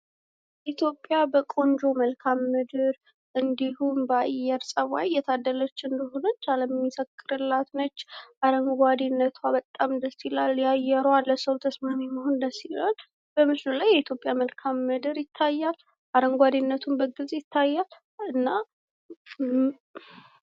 ኢትዮጵያ በቆንጆ መልክአ ምድር እንዲሁም በጥሩ አየር ፀባይ የታደለች እንደሆነች አለም ሚመሰክርላት ነች ።አረንጓዴ መሬቷ በጣም ደስ ይላል ።ለሰው ልጅ ተስማሚ መሆኗ በጣም ደስ ይላል ።በምስሉ ላይ የኢትዮጵያ መልክአ ምድር ይታያል ።አረንጓዴነቱም በግልፅ ይታያል።